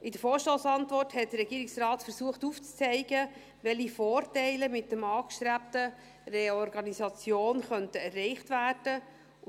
In der Vorstossantwort hat der Regierungsrat aufzuzeigen versucht, welche Vorteile mit der angestrebten Reorganisation erreicht werden könnten.